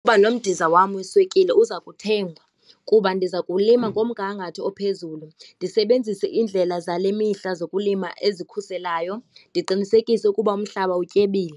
Uba nomdiza wam weswekile uza kuthengwa kuba ndiza kuwulima ngomngangatho ophezulu, ndisebenzise indlela zale mihla zokulima ezikhuselayo, ndiqinisekise ukuba umhlaba utyebile.